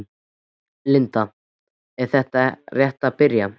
Linda: Þetta er rétt að byrja?